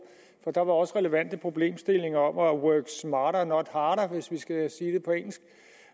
for der var også relevante problemstillinger om work smarter not harder hvis vi skal sige det på engelsk